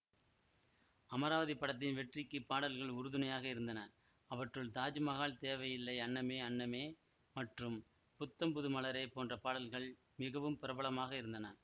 அமராவதி படத்தின் வெற்றிக்குப் பாடல்கள் உறுதுணையாக இருந்தன அவற்றுள் தாஜ்மஹால் தேவையில்லை அன்னமே அன்னமே மற்றும் புத்தம் புது மலரே போன்ற பாடல்கள் மிகவும் பிரபலமாக இருந்தன